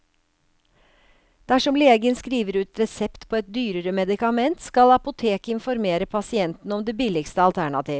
Dersom legen skriver ut resept på et dyrere medikament, skal apoteket informere pasienten om det billigste alternativ.